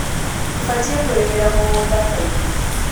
ũbatie kũrĩmĩra mũgũnda kaingĩ.